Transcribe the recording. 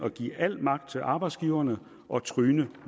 at give al magt til arbejdsgiverne og tryne